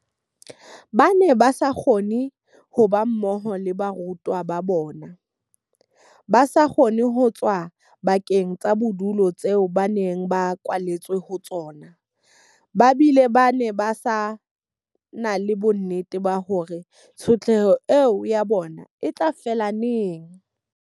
Ba ne ba sa kgone ho ba mmoho le baratuwa ba bona, ba sa kgone ho tswa dibakeng tsa bodulo tseo ba neng ba kwaletswe ho tsona, ba bile ba se na le bonnete ba hore na tshotleho eo ya bona e tla fela neng.